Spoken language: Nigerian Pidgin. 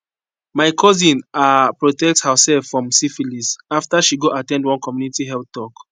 my cousin ah protect herself from syphilis after she go at ten d one community health talk